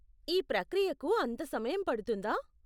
ఈ ప్రక్రియకు అంత సమయం పడుతుందా?